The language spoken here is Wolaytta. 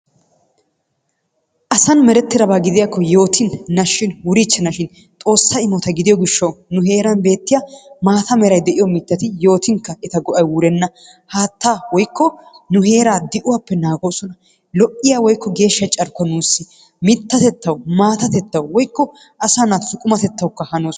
Asan merettidaba gidiyakko yootin, nashshin wuriichchanashin xoossa imota gidiyo gishshawu nu heeran beetiya maata meray de'iyo mittati yootinkka eta go'ay wurenna. Haattaa woykko nu heera di'uwappe naagoosona. Lo"iya woykko geeshsha carkkuwa nuussi mittatettawu, maatatettawu woykko asaa naatussi qumatettawu hanoosona.